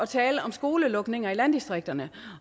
tale om skolelukninger i landdistrikterne